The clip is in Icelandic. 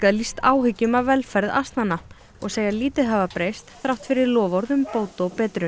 lýst áhyggjum af velferð asnanna og segja lítið hafa breyst þrátt fyrir loforð um bót og betrun